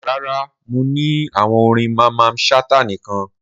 Rara, Mo ni awọn orin Mamman Shata nikan.